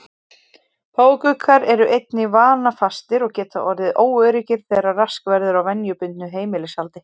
Páfagaukar eru einnig vanafastir og geta orðið óöruggir þegar rask verður á venjubundnu heimilishaldi.